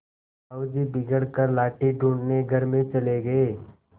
साहु जी बिगड़ कर लाठी ढूँढ़ने घर में चले गये